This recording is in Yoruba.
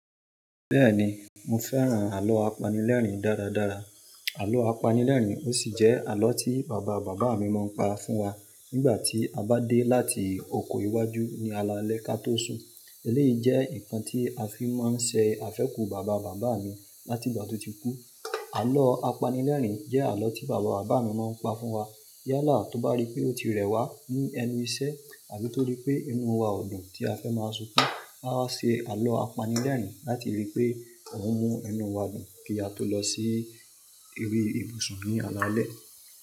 Bẹ́ẹ̀ni, mo fẹ́ràn àlọ́ apanilẹ́rìn dáradára. Àlọ apanilẹ́rìn ó sì jẹ́ àlọ́ tí bàba bàbá mi máa ń pa fún wa nígbà tí a bá dé láti oko iwájú ní alaalẹ́ katósun. Èyí jẹ́ ǹkan tí a fi máa ń ṣe àfẹ́kù bàba bàbá mi láti ìgbà tó ti kú. Àlọ́ apanilẹ́rìn jẹ́ àlọ́ tí bàbá bàbá mi máa ń pa fún wa. Yálà tó bá rí pé ó ti rẹwà ní ẹnu iṣẹ́ àbi tó rí pé inú wa odùn tí a fẹ́ máa sunkún, won a waa ṣe àlọ́ apanilẹ́rìn láti rí i pé òun mú inú wa dùn kí a tó lọ sí eri ìbùsùn ní alaalẹ́.